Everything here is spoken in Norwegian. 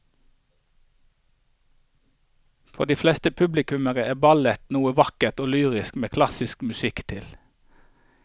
For de fleste publikummere er ballett noe vakkert og lyrisk med klassisk musikk til.